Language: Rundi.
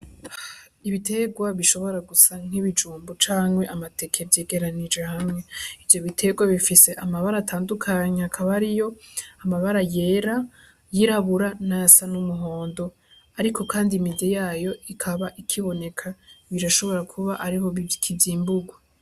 Ibiterwa bishobora gusa nk'ibijumbo canke amateke vyegeranije hamwe ivyo biterwa bifise amabara atandukanyi akabariyo amabara yera yirabura na yasa n'umuhondo, ariko, kandi imide yayo ikaba ikiboneka birashobora kuba ariho bikizimburwa.